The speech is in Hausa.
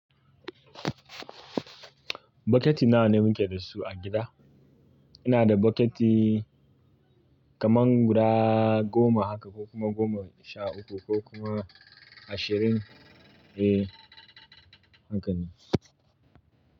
Bokiti nawa ne muke da su a gida? Ina da bokiti kaman guda goma haka ko kuma goma sha uku ko kuma ashirin. Eh, haka ne.